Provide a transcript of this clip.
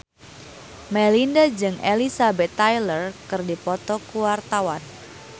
Melinda jeung Elizabeth Taylor keur dipoto ku wartawan